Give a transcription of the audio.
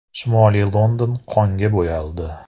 Shimoliy London “qon”ga bo‘yaldi.